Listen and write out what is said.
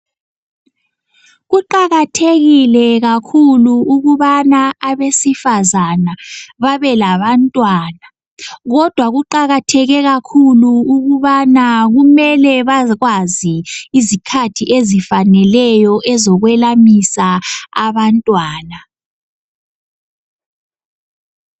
Kuqakathekile kakhulu ukubana abesifazana babe labantwana kodwa kuqakatheke kakhulu ukubana kumele bakwazi izikhathi ezifaneleyo ezokwelamisa abantwana.